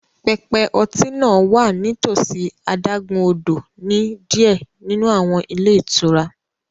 Pẹpẹ ọtí náà wà nítòsí adágún-odò ní diẹ ninu awọn ilé itúrá